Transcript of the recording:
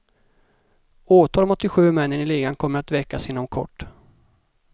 Åtal mot de sju männen i ligan kommer att väckas inom kort.